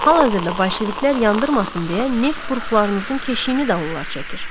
Hal-hazırda bolşeviklər yandırmasın deyə neft buruqlarınızın keşiyini də onlar çəkir.